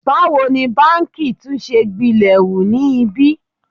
Báwo ni báǹkì tún ṣe gbilẹ̀ hu ni ibí?